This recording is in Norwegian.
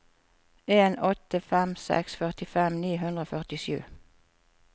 en åtte fem seks førtifem ni hundre og førtisju